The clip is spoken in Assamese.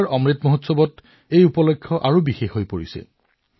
এইবাৰ অমৃত উৎসৱত এই অনুষ্ঠানটো আৰু অধিক বিশেষ হৈ পৰিছে